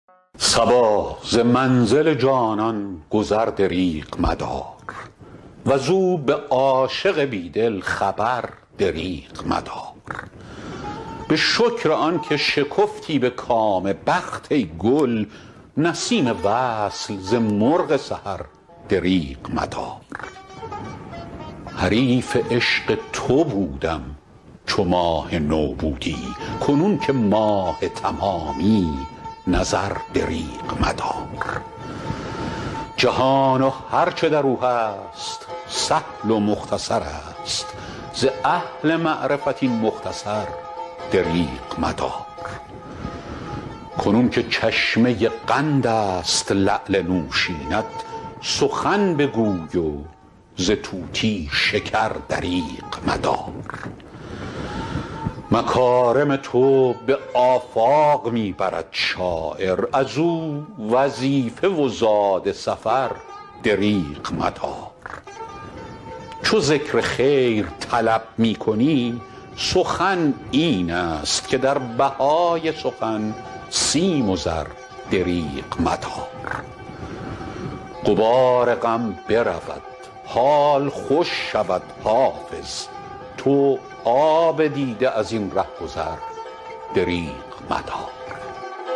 صبا ز منزل جانان گذر دریغ مدار وز او به عاشق بی دل خبر دریغ مدار به شکر آن که شکفتی به کام بخت ای گل نسیم وصل ز مرغ سحر دریغ مدار حریف عشق تو بودم چو ماه نو بودی کنون که ماه تمامی نظر دریغ مدار جهان و هر چه در او هست سهل و مختصر است ز اهل معرفت این مختصر دریغ مدار کنون که چشمه قند است لعل نوشین ات سخن بگوی و ز طوطی شکر دریغ مدار مکارم تو به آفاق می برد شاعر از او وظیفه و زاد سفر دریغ مدار چو ذکر خیر طلب می کنی سخن این است که در بهای سخن سیم و زر دریغ مدار غبار غم برود حال خوش شود حافظ تو آب دیده از این ره گذر دریغ مدار